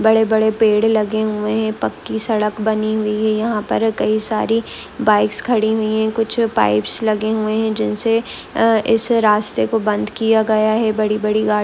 बड़े-बड़े पेड़ लगे हुए हैं पक्की सड़क बनी हुई है यहां पर कई सारी बाइक्स खड़ी हुई है कुछ पाइपस लगे हुए है . जिनसे आ इस रास्ते को बंद किया गया है बड़ी बड़ी गाड़ी--